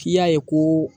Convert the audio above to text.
K'i y'a ye ko